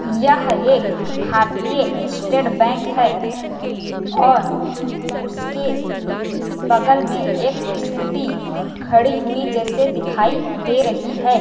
यह एक भारतीय स्टेट बैंक है और उसके बगल में एक स्कूटी खड़ी हुई जैसे दिखाई दे रही है।